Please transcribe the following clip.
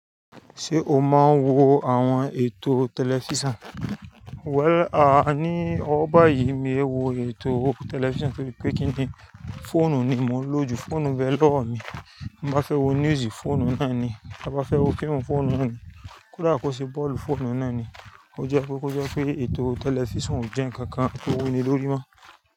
Ṣé o máa ń wo àwọn ètò tẹlifísàn? Well, à ní ọ́wo báyìí mi e wo ètò tẹlifísàn torípé kí ni fóònù ni mò ń lò jù, fóònù n bee lọ́wo mi. Tí ń ba fẹ́ wo news fóònù náà ni, ma ba fẹ́ wo fíìmù fóònù náà ni, kódà kó ṣe bọ́ọ̀lù fóònù náà ni. Ó jẹ́ pé kó jẹ́ pé ètò tẹlifísàn ò jẹ́ ǹkan kan tó wuni lórí mọ́.